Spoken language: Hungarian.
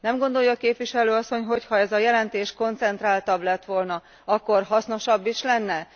Nem gondolja a Képviselő asszony, hogyha ez a jelentés koncentráltabb lett volna, akkor hasznosabb is lenne?